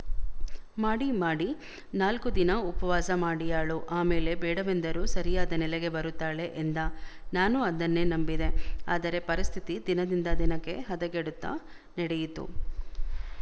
ಮಾಡಿ ಮಾಡಿ ನಾಲ್ಕು ದಿನ ಉಪವಾಸ ಮಾಡಿಯಾಳು ಆ ಮೇಲೆ ಬೇಡವೆಂದರೂ ಸರಿಯಾದ ನೆಲೆಗೆ ಬರುತ್ತಾಳೆ ಎಂದ ನಾನೂ ಅದನ್ನೇ ನಂಬಿದೆ ಆದರೆ ಪರಿಸ್ಥಿತಿ ದಿನದಿಂದ ದಿನಕ್ಕೆ ಹದಗೆಡುತ್ತ ನಡೆಯಿತು